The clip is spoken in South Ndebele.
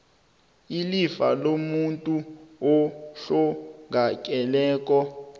ilifa lomuntu ohlongakeleko